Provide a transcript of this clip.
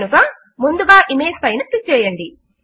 కనుక ముందుగా ఇమేజ్ పైన క్లిక్ చేయండి